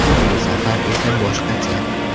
Bu safar esa boshqacha.